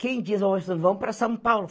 Quem disse, vamos para São Paulo?